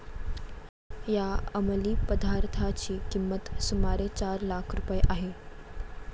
या अमलीपदार्थाची किंमत सुमारे चार लाख रुपये आहे.